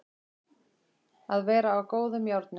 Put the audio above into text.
Að vera á góðum járnum